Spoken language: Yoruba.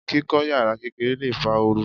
Kíkọ́ yàrá kékeré lè fa ooru.